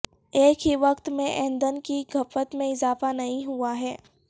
ایک ہی وقت میں ایندھن کی کھپت میں اضافہ نہیں ہوا ہے